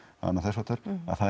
annað þess háttar að það